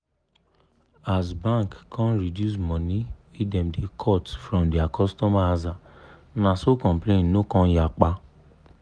as bank come reduce money wey dem da cut from dia cutomer aza na so complain no come yapa